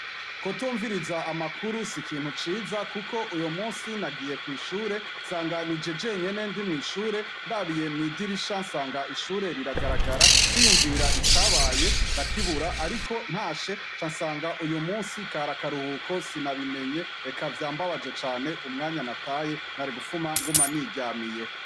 Kutumviriza amakuru sikintu ciza kuko uyumunsi nagiye kw'ishure ,nsanga Nije jenyine ndi mwishure ,ndabiye mwidirisha nsanga riragara niyumvira icabaye ndakibura ariko ntashe ca nsanga nakaruhuko sinabimenya Eka vyambabaje cane umwanya nataye narigufuma mba niryamiye.